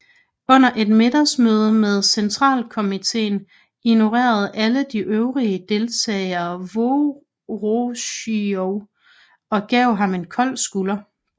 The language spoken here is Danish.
Under et middagsmøde med centralkomiteen ignorerede alle de øvrige deltagere Vorosjilov og gav ham en kold skulder